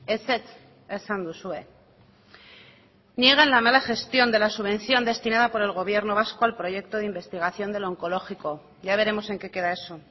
ezetz esan duzue niegan la mala gestión de la subvención destinada por el gobierno vasco al proyecto de investigación de lo onkologiko ya veremos en qué queda eso